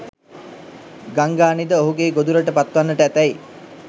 ගංගානිද ඔහුගේ ගොදුරට පත්වන්නට ඇතැයි